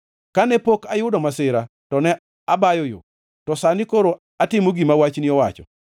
Kane pok ayudo masira to ne abayo yo, to sani koro atimo gima wachni owacho.